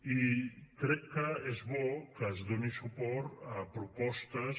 i crec que és bo que es doni suport a propostes